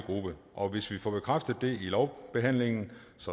gruppe og hvis vi får bekræftet det lovbehandlingen